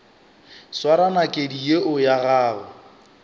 swara nakedi yeo ya gago